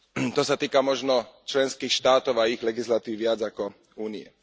To sa týka možno členských štátov a ich legislatívy viac ako Únie.